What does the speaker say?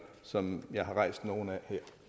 som jeg har rejst nogle af